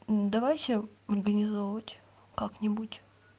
давайте организовывать как-нибудь